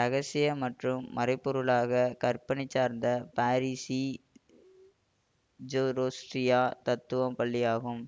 இரகசியம் மற்றும் மறைபொருளாகக் கற்பனை சார்ந்த பார்சிஜோரோஸ்ட்ரிய தத்துவப் பள்ளியாகும்